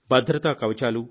భద్రతా కవచాలు